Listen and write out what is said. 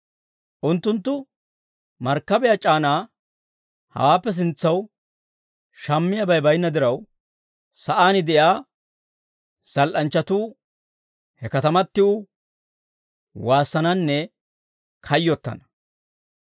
Unttunttu markkabiyaa c'aanaa hawaappe sintsanaw shammiyaabay baynna diraw, sa'aan de'iyaa zal"anchchatuu he katamatiw waassananne kayyottana.